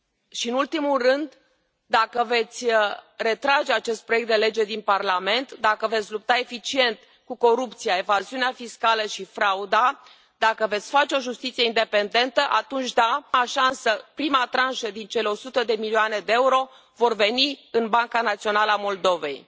Și în ultimul rând, dacă veți retrage acest proiect de lege din Parlament, dacă veți lupta eficient cu corupția, evaziunea fiscală și frauda, dacă veți face o justiție independentă, atunci da, prima tranșă din cele 100 de milioane de euro vor veni în Banca Națională a Moldovei.